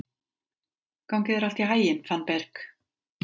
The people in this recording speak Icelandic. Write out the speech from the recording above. Gangi þér allt í haginn, Fannberg.